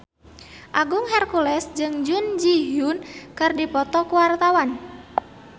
Agung Hercules jeung Jun Ji Hyun keur dipoto ku wartawan